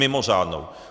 Mimořádnou.